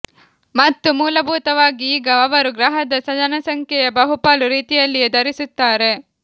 ಮತ್ತು ಮೂಲಭೂತವಾಗಿ ಈಗ ಅವರು ಗ್ರಹದ ಜನಸಂಖ್ಯೆಯ ಬಹುಪಾಲು ರೀತಿಯಲ್ಲಿಯೇ ಧರಿಸುತ್ತಾರೆ